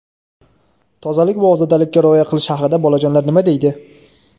Tozalik va ozodalikka rioya qilish haqida bolajonlar nima deydi?.